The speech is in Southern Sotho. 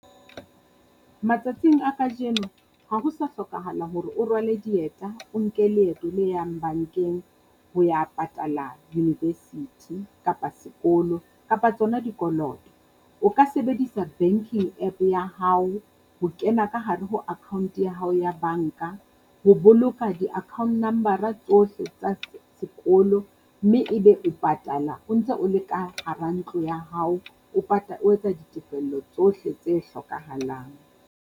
Matsatsing a kajeno ha ho sa hlokahala hore o rwale dieta o nke leeto le yang bankeng ho ya patala university, kapa sekolo, kapa tsona dikoloto. O ka sebedisa banking App ya hao ho kena ka hare ho account ya hao ya banka. Ho boloka di-account number-ra tsohle tsa sekolo mme ebe o patala o ntse o le ka hara ntlo ya hao, o o etsa ditefello tsohle tse hlokahalang.